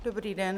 Dobrý den.